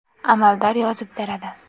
Amaldor yozib beradi.